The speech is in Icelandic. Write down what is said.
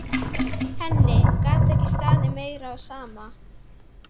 Henni gat ekki staðið meira á sama.